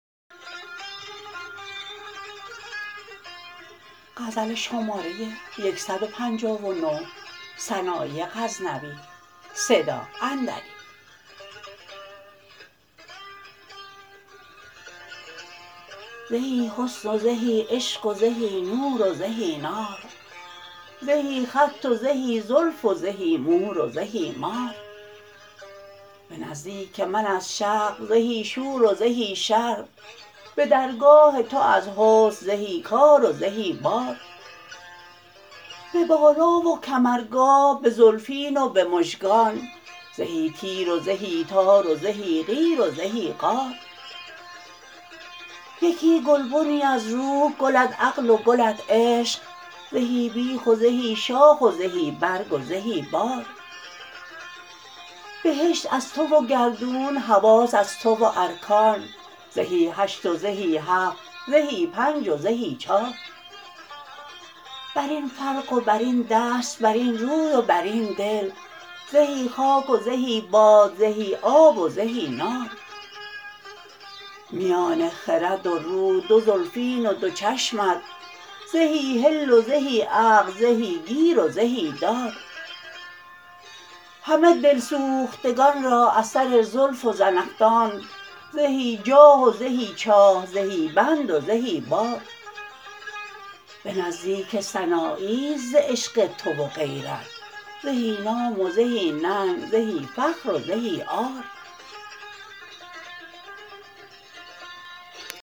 زهی حسن و زهی عشق و زهی نور و زهی نار زهی خط و زهی زلف و زهی مور و زهی مار به نزدیک من از شق زهی شور و زهی شر به درگاه تو از حسن زهی کار و زهی بار به بالا و کمرگاه به زلفین و به مژگان زهی تیر و زهی تار و زهی قیر و زهی قار یکی گلبنی از روح گلت عقل و گلت عشق زهی بیخ و زهی شاخ و زهی برگ و زهی بار بهشت از تو و گردون حواس از تو و ارکان زهی هشت و زهی هفت زهی پنج و زهی چار برین فرق و برین دست برین روی و برین دل زهی خاک و زهی باد زهی آب و زهی نار میان خرد و روح دو زلفین و دو چشمت زهی حل و زهی عقد زهی گیر و زهی دار همه دل سوختگان را از سر زلف و زنخدانت زهی جاه و زهی چاه زهی بند و زهی بار به نزدیک سناییست ز عشق تو و غیرت زهی نام و زهی ننگ زهی فخر و زهی عار